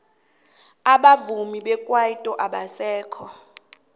abavumi bekwaito abasekho